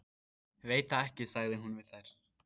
Veit það ekki sagði hún við þær.